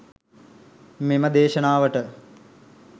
මෙම දේශනාවට